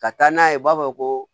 Ka taa n'a ye u b'a fɔ ko